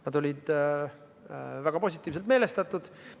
Nad olid väga positiivselt meelestatud.